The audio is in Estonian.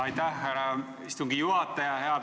Aitäh, härra istungi juhataja!